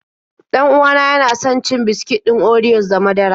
Dan uwa na yana son cin biskit ɗin oriyos da madara.